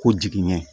Ko jigiɲɛ